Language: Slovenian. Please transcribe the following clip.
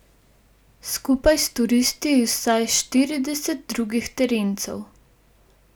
Skupaj s turisti iz vsaj štiridesetih drugih terencev.